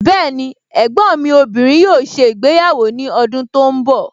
Bẹẹni, ẹ̀gbọ́n mi obìnrin yóò ṣe ìgbéyàwó ní ọdún tí ó ń bọ̀